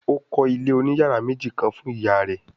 Ó kọ́ Ilé òní yàrá méjì kán fún ìyá rẹ̀